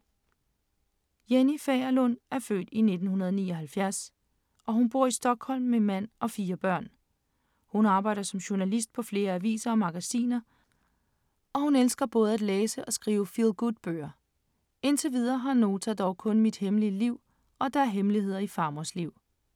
Jenny Fagerlund er født i 1979, og hun bor i Stockholm med mand og fire børn. Hun arbejder som journalist på flere aviser og magasiner, og hun elsker både at læse og skrive feel-good-bøger. Indtil videre har Nota dog kun Mit hemmelige liv, og der er hemmeligheder i farmors liv.